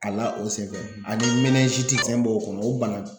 A la o senfɛ ani fɛn dɔ o n'o bana